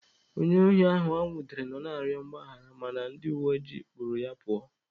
Onye ohi ahụ enwudere nọ na-arịọ mgbaghara mana ndị uweojii kpụrụ ya pụọ.